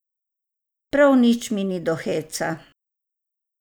Prav nič mi ni do heca.